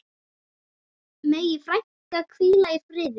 Megi frænka hvíla í friði.